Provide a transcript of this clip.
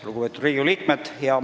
Lugupeetud Riigikogu liikmed!